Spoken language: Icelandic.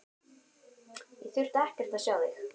Ég þurfti ekkert að sjá þig.